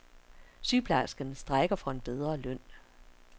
Sygeplejerskerne strejker for en bedre løn.